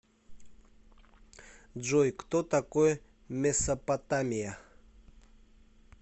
джой кто такой месопотамия